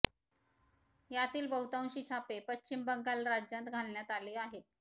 यातील बहुतांशी छापे पश्चिम बंगाल राज्यांत घालण्यात आले आहेत